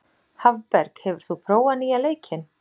Hafberg, hefur þú prófað nýja leikinn?